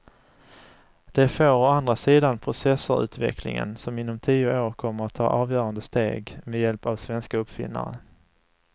Det får å andra sidan processorutvecklingen som inom tio år kommer att ta avgörande steg med hjälp av svenska uppfinnare.